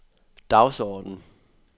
dagsorden